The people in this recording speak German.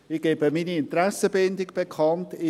Ich gebe meine Interessenbindung bekannt: